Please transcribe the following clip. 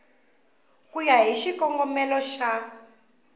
ku ya hi xikongomelo xa